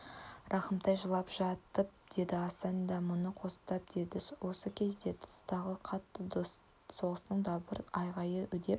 рахымтай жылап жатып деді асан да мұны қостап деді осы кезде тыстағы қатты соғыстың дабыр-айғайы үдеп